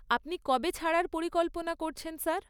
আপনি কবে ছাড়ার পরিকল্পনা করছেন স্যার?